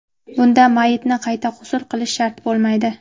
Bunda mayyitni qayta g‘usl qilish shart bo‘lmaydi.